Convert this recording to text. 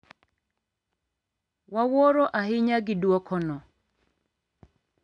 "Wawuoro ahinya gi duoko no."